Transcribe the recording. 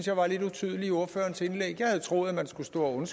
jeg var lidt utydeligt i ordførerens indlæg jeg havde troet at man skulle stå og